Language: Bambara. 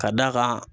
Ka d'a kan